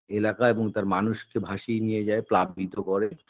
এলাকা এবং তার মানুষকে ভাসিয়ে নিয়ে যায় প্রাক বিদ্ধ করে